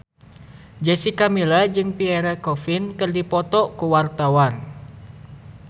Jessica Milla jeung Pierre Coffin keur dipoto ku wartawan